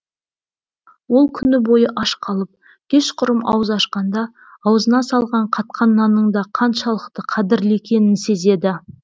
ол күні бойы аш қалып кешқұрым ауыз ашқанда аузына салған қатқан нанның да қаншалықты қадірлі екенін сезеді